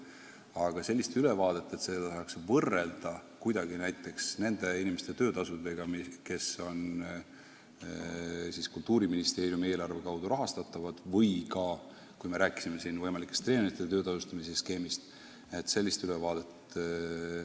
Aga sellist ülevaadet, mille andmeid saaks võrrelda näiteks nende inimeste töötasudega, kes saavad palka Kultuuriministeeriumi eelarve kaudu, ja kõrvutada seda treenerite töö tasustamise skeemiga, ei ole.